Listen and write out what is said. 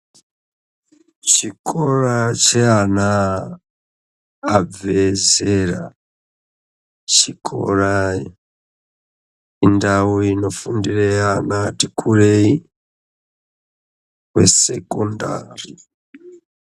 Chikora cheana abve zera, chikora indau inofundire ana ati kurei kuSekondari.